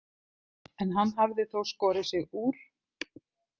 En hann hafði þó skorið sig úr.